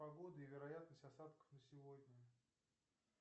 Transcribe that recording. погода и вероятность осадков на сегодня